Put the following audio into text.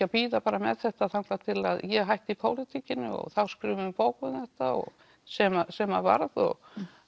að bíða með þetta þar til ég hætti í pólitíkinni og þá skrifum við bók um þetta sem sem varð og